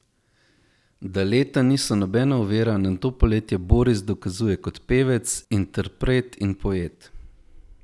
Da leta niso nobena ovira, nam to poletje Boris dokazuje kot pevec, interpret in poet.